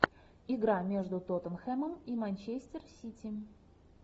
игра между тоттенхэмом и манчестер сити